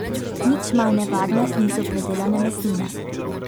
Nič manj nevarne niso predelane mesnine.